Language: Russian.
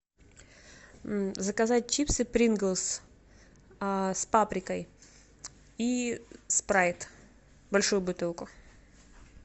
заказать чипсы принглс с паприкой и спрайт большую бутылку